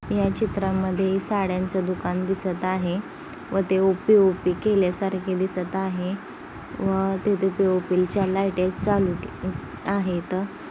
या चित्रा मधे साड्यांच दुकान दिसत आहे व ते वो पीओपि केल्या सारखे दिसत आहे व तिथे पीओपि च्या लाइट चालू आहेत.